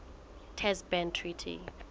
test ban treaty